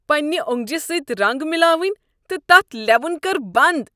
پنٛنہ اوٚنٛگجہ سۭتۍ رنٛگ ملاوٕنۍ تہٕ تتھ لیوُن کر بنٛد۔